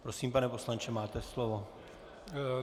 Prosím, pane poslanče, máte slovo.